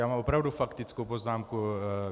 Já mám opravdu faktickou poznámku.